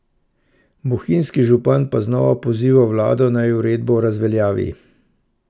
Bohinjski župan pa znova poziva vlado naj uredbo razveljavi.